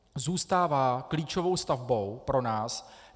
Zůstává klíčovou stavbou pro nás.